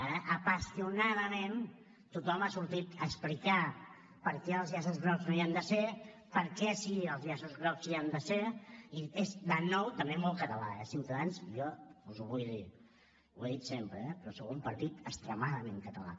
ara apassionadament tothom ha sortit a explicar per què els llaços grocs no hi han de ser per què sí els llaços grocs hi han de ser i és de nou també molt català eh ciutadans jo us ho vull dir ho he dit sempre eh però sou un partit extremadament català